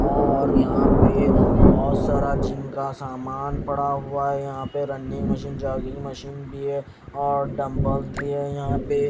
और यहाँ पे बहुत सारा जिम का सामान पड़ा हुआ है यहाँ पे रनिंग मशीन जॉगिंग मशीन भी है और डंबल्स भी हैं यहाँ पे।